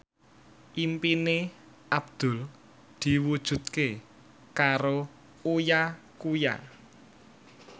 impine Abdul diwujudke karo Uya Kuya